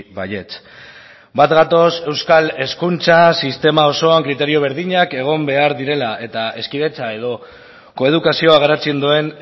baietz bat gatoz euskal hezkuntza sistema osoan kriterio berdinak egon behar direla eta hezkidetza edo koedukazioa garatzen duen